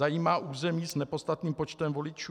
Zajímá území s nepodstatným počtem voličů?